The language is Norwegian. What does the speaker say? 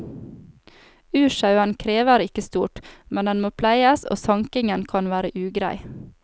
Ursauen krever ikke stort, men den må pleies, og sankingen kan være ugrei.